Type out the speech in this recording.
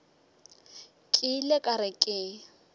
ke ile ka re ke